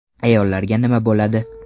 Ayollarga nima bo‘ladi?